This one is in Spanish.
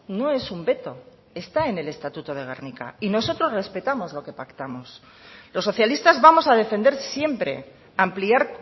no es un veto está en el estatuto de gernika y nosotros respetamos lo que pactamos los socialistas vamos a defender siempre ampliar